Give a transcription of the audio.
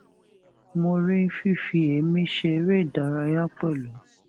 mo rí fífi èémí ṣe eré ìdárayá pẹlú